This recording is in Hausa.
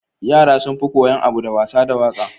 Yara sunfi koyan abu da wasa da waƙa